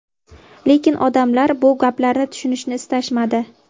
Lekin odamlar bu gaplarni tushunishni istashmadi.